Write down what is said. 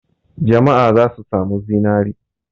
Jama'a za su sami zinare.